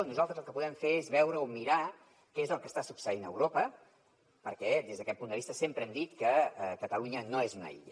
nosaltres el que podem fer és mirar què és el que està succeint a europa perquè des d’aquest punt de vista sempre hem dit que catalunya no és una illa